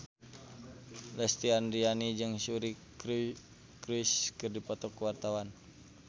Lesti Andryani jeung Suri Cruise keur dipoto ku wartawan